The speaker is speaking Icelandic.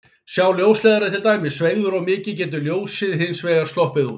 Sé ljósleiðarinn til dæmis sveigður of mikið getur ljósið hins vegar sloppið út.